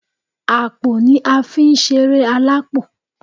Àpò ni a fi ń sẹré alápò